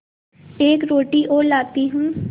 एक रोटी और लाती हूँ